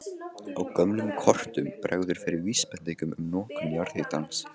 Á gömlum kortum bregður fyrir vísbendingum um notkun jarðhitans.